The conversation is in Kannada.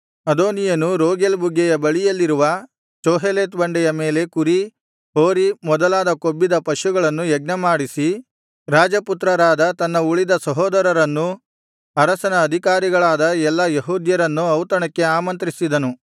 ಅದೋನೀಯನು ರೋಗೆಲ್ ಬುಗ್ಗೆಯ ಬಳಿಯಲ್ಲಿರುವ ಚೋಹೆಲೆತ್ ಬಂಡೆಯ ಮೇಲೆ ಕುರಿ ಹೋರಿ ಮೊದಲಾದ ಕೊಬ್ಬಿದ ಪಶುಗಳನ್ನು ಯಜ್ಞಮಾಡಿಸಿ ರಾಜಪುತ್ರರಾದ ತನ್ನ ಉಳಿದ ಸಹೋದರರನ್ನೂ ಅರಸನ ಅಧಿಕಾರಿಗಳಾದ ಎಲ್ಲಾ ಯೆಹೂದ್ಯರನ್ನೂ ಔತಣಕ್ಕೆ ಆಮಂತ್ರಿಸಿದನು